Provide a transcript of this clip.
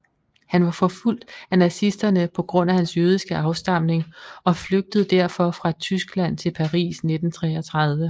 Han var forfulgt af nazisterne på grund af hans jødiske afstamning og flygtede derfor fra Tyskland til Paris i 1933